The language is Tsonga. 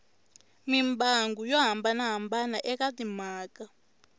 mimbangu yo hambanahambana eka timhaka